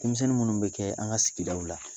Ko misɛnnin minnu bɛ kɛ an ka sigidaw la